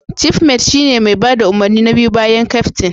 Cifmet shine mai bada umarni na biyu bayan keftin.